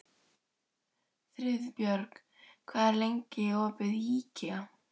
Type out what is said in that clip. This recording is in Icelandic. Friðbjörg, hvað er lengi opið í IKEA?